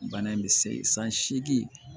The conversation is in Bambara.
Bana in bɛ se san seegin